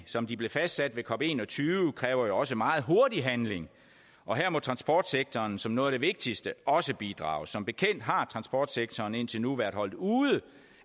som de blev fastsat ved cop21 kræver jo også en meget hurtig handling og her må transportsektoren som noget af det vigtigste også bidrage som bekendt har transportsektoren indtil nu været holdt ude